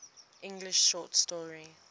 english short story